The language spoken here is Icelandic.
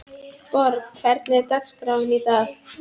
Borg, hvernig er dagskráin í dag?